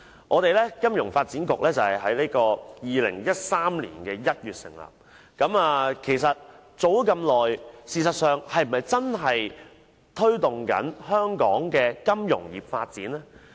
金發局自於2013年1月成立以來，已經過一段頗長的日子，但該局是否真的在推動本港的金融業發展？